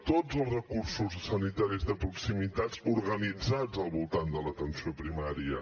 tots els recursos sanitaris de proximitat organitzats al voltant de l’atenció primària